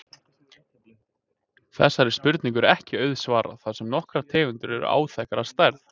Þessari spurningu er ekki auðsvarað þar sem nokkrar tegundir eru áþekkar að stærð.